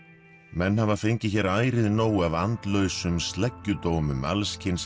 menn hafa fengið hér ærið nóg af andlausum sleggjudómum alls kyns